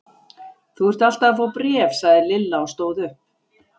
Þú ert alltaf að fá bréf sagði Lilla og stóð upp.